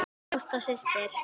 Ásta systir.